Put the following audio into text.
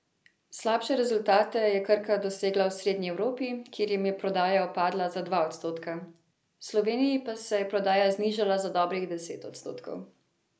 Slabše rezultate je Krka dosegla v srednji Evropi, kjer jim je prodaja upadla za dva odstotka, v Sloveniji pa se je prodaja znižala za dobrih deset odstotkov.